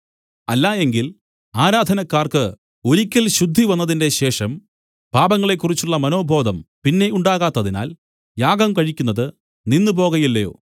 അല്ലായെങ്കിൽ ആരാധനക്കാർക്ക് ഒരിക്കൽ ശുദ്ധിവന്നതിന്റെ ശേഷം പാപങ്ങളെക്കുറിച്ചുള്ള മനോബോധം പിന്നെ ഉണ്ടാകാത്തതിനാൽ യാഗം കഴിക്കുന്നത് നിന്നുപോകയില്ലയോ